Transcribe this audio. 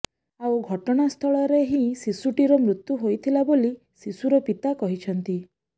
ଆଉ ଘଟଣାସ୍ଥଳରେ ହିଁ ଶିଶୁଟିର ମୃତ୍ୟୁ ହୋଇଥିଲା ବୋଲି ଶିଶୁର ପିତା କହିଛନ୍ତି